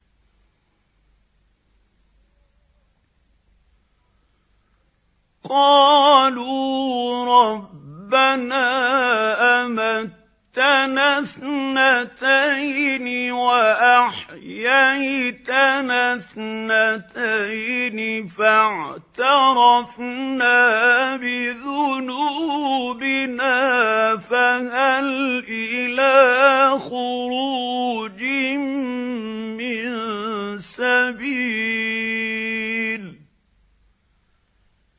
قَالُوا رَبَّنَا أَمَتَّنَا اثْنَتَيْنِ وَأَحْيَيْتَنَا اثْنَتَيْنِ فَاعْتَرَفْنَا بِذُنُوبِنَا فَهَلْ إِلَىٰ خُرُوجٍ مِّن سَبِيلٍ